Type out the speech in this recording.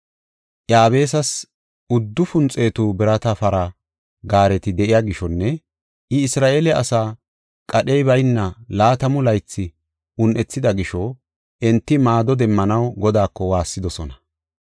Iyaabisas uddufun xeetu birata para gaareti de7iya gishonne I Isra7eele asaa qadhey bayna laatamu laythi un7ethida gisho enti maado demmanaw Godaako waassidosona.